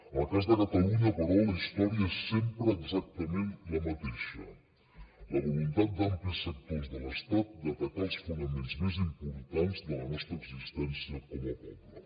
en el cas de catalunya però la història és sempre exactament la mateixa la voluntat d’amplis sectors de l’estat d’atacar els fonaments més importants de la nostra existència com a poble